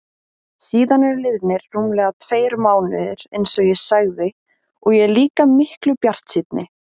Síðan eru liðnir rúmlega tveir mánuðir einsog ég sagði og ég er líka miklu bjartsýnni.